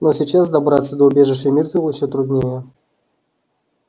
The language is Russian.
но сейчас добраться до убежища миртл ещё труднее